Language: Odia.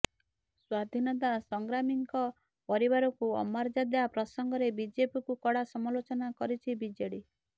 ସ୍ୱାଧୀନତା ସଂଗ୍ରାମୀଙ୍କ ପରିବାରକୁ ଅମର୍ଯ୍ୟାଦା ପ୍ରସଙ୍ଗରେ ବିଜେପିକୁ କଡା ସମାଲୋଚନା କରିଛି ବିଜେଡି